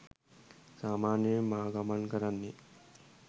සාමාන්‍යයෙන් මා ගමන් කරන්නේ